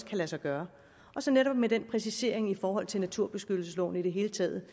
lade sig gøre og så netop med den præcisering i forhold til naturbeskyttelsesloven i det hele taget